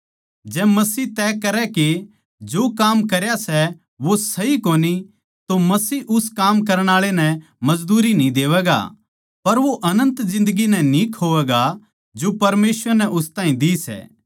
जै मसीह तय करै के जो काम करया सै वो सही कोनी तो मसीह उस काम करण आळे नै मजदूरी न्ही देवैगा पर वो अनन्त जिन्दगी नै न्ही खोवैगा जो परमेसवर नै उस ताहीं दी सै